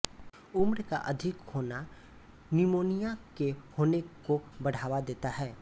उम्र का अधिक होना निमोनिया के होने को बढ़ावा देता है